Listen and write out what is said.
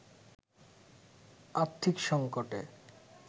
আর্থিক সঙ্কটে